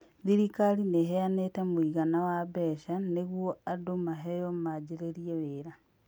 Thirikari nĩ ĩheanĩte mũigana wa mbeca nĩguo andũ maheo majĩrĩrie wĩra.